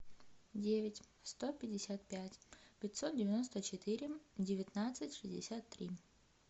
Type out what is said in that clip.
девять сто пятьдесят пять пятьсот девяносто четыре девятнадцать шестьдесят три